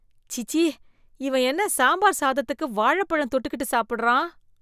சீச்சீ! இவன் என்ன சாம்பார் சாதத்துக்கு வாழைப்பழம் தொட்டுக்கிட்டு சாப்பிடறான்